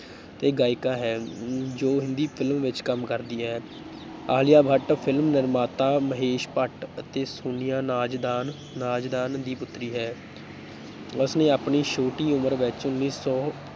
ਅਤੇ ਗਾਇਕਾ ਹੈ, ਜੋ ਹਿੰਦੀ film ਵਿੱਚ ਕੰਮ ਕਰਦੀ ਹੈ, ਆਲਿਆ ਭੱਟ film ਨਿਰਮਾਤਾ ਮਹੇਸ਼ ਭੱਟ ਅਤੇ ਸੋਨੀਆ ਨਾਜ਼ਦਾਨ ਰਾਜ਼ਦਾਨ ਦੀ ਪੁੱਤਰੀ ਹੈ ਉਸਨੇ ਆਪਣੀ ਛੋਟੀ ਉਮਰ ਵਿੱਚ ਉੱਨੀ ਸੌ